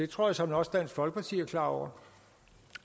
tror såmænd også dansk folkeparti er klar over